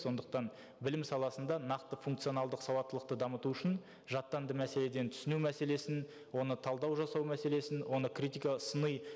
сондықтан білім саласында нақты функционалдық сауаттылықты дамыту үшін жаттанды мәселеден түсіну мәселесін оны талдау жасау мәселесін оны критика сыни